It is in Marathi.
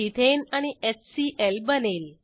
इथेन आणि एचसीएल बनेल